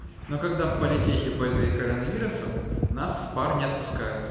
но когда в политехе больные коронавирусом нас с пар не отпускают